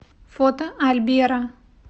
фото альберо